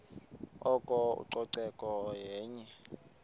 oko ucoceko yenye